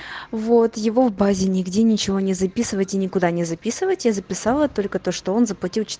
вот его в базе нигде ничего не записывать и никуда не записывать я записала только то что он заплатил ч